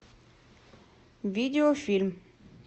видео фильм